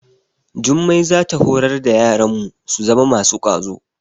Jummai za ta horar da yaranmu su zama masu kwazo.